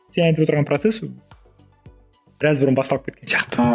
сен айтып отырған процесс ол біраз бұрын басталып кеткен сияқты